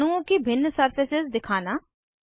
अणुओं की भिन्न सरफसेस दिखाना